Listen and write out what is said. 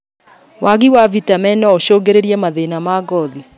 Wagi wa vitameni noũcũngĩrĩrie mathĩna ma ngothi